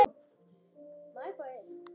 Þórir hafði alltaf stóra sýn.